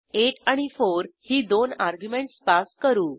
8 आणि 4 ही दोन अर्ग्युमेंटस पास करू